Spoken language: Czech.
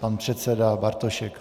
Pan předseda Bartošek.